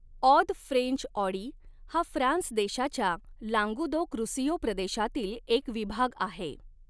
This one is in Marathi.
ऑद फ्रेंच ऑडी हा फ्रान्स देशाच्या लांगूदोक रूसियों प्रदेशातील एक विभाग आहे.